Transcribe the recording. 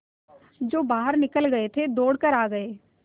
जो बाहर निकल गये थे दौड़ कर आ गये